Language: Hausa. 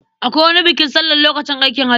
Akwai wani bukin sallan lokacin aikin haji.